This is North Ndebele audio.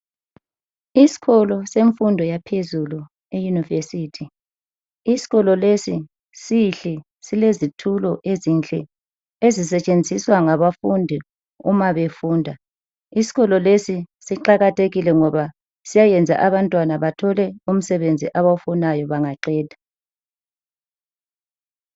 Isikolo semfundo yaphezulu iyunivesithi, isikolo lesi sihle lesi silezitulo ezinhle ezisetshenziswa ngabafundi uma befunda, isikolo lesi siqakathekile ngoba siyayenza abantwana bathole umsebenzi abawufunayo bangaqeda.